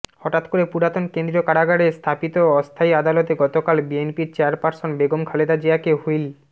হঠাৎ করে পুরাতন কেন্দ্রীয় কারাগারে স্থাপিত অস্থায়ী আদালতে গতকাল বিএনপির চেয়ারপার্সন বেগম খালেদা জিয়াকে হুইল